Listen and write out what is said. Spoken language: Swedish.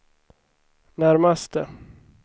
närmaste